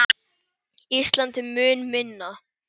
Ísland er mun minna.